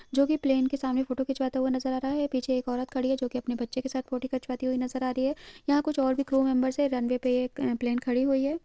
जो की प्लैन के सामने फोटो खिंचवाते हुए नज़र आ रहा है पीछे एक औरत खड़ी है जो की अपने बच्चे के साथ फोटो खिंचवाती हुई नज़र आ रही है यहाँ कुछ और भी क्रू मेम्बर्स है रन्वै पे एक अ-प्लैन खड़ी हुई है।